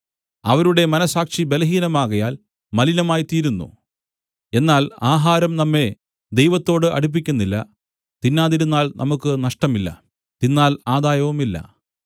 അവരുടെ മനസ്സാക്ഷി ബലഹീനമാകയാൽ മലിനമായിത്തീരുന്നു എന്നാൽ ആഹാരം നമ്മെ ദൈവത്തോട് അടുപ്പിക്കുന്നില്ല തിന്നാതിരുന്നാൽ നമുക്ക് നഷ്ടമില്ല തിന്നാൽ ആദായവുമില്ല